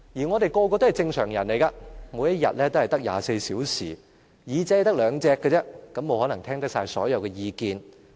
我們人人都是正常人，每天只有24小時，只有兩隻耳朵，沒可能聽到所有意見。